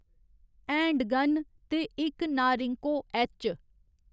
Handgun, ते इक Norinco H.